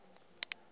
dan bedoel ek